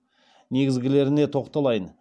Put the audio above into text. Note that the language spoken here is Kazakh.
негізгілеріне тоқталайын